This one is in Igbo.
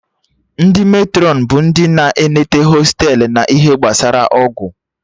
Ndị Matrọn bụ ndị na-eneta hostelu na ihe gbasara ọgwụ